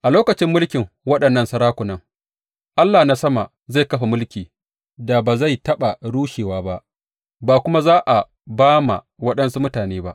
A lokacin mulkin waɗannan sarakunan, Allah na sama zai kafa mulki da ba zai taɓa rushewa ba, ba kuma za a ba ma waɗansu mutane ba.